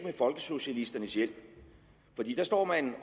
folkesocialisternes hjælp for de står